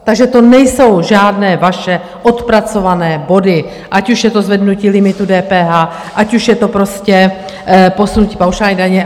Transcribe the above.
Takže to nejsou žádné vaše odpracované body, ať už je to zvednutí limitu DPH, ať už je to prostě posunutí paušální daně.